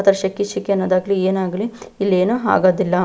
ಶೆಕೆ ಶೆಕೆ ಅನ್ನೋದಾಗಲಿ ಏನೇ ಆಗಲಿ ಇಲ್ಲೇನು ಆಗೋದಿಲ್ಲ.